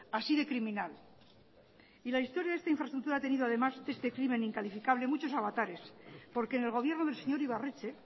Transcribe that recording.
así de criminal y la historia de esta infraestructura ha tenido además este crimen incalificable muchos avatares porque en el gobierno del señor ibarretxe